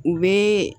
U bɛ